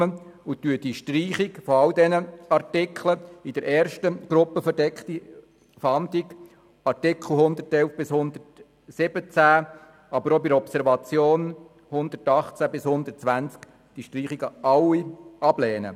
Wir lehnen die Streichung all dieser Artikel, also der Artikel 111 bis 117 in der ersten Gruppe «Verdeckte Fahndung» und die Artikel 118 bis 120 in der Gruppe «Observation», ab.